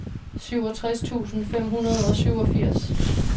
syvogtres tusind fem hundrede og syvogfirs